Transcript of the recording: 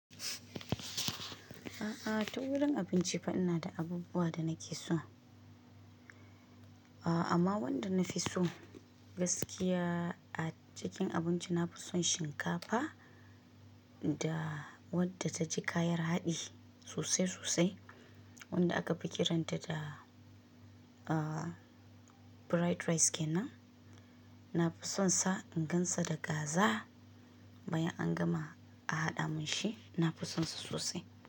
A'a, ta wurin abinci fa ina da abubuwa da nake so. Amma wanda na fi so gaskiya a cikin abinci, na fi son shinkafa da wadda ta ji kayar haɗi sosai sosai wadda akafi kiran ta da, uh, pride rice kenan. Na fi son sa in gan sa da kaza bayan an gama a haɗa mun shi, na fi son sa sosai.